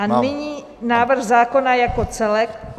A nyní návrh zákona jako celek.